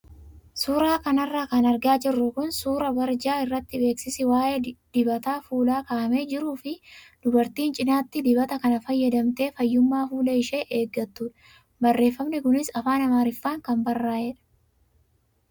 Suuraa kanarra kan argaa jirru kun suuraa barjaa irratti beeksisi waayee dibata fuulaa kaa'amee jiruu fi dubartii cinaatti dibata kana fayyadamtee fayyummaa fuula ishee eeggattudha. Barreeffamni kunis afaan amaariffaan kan barraa'edha.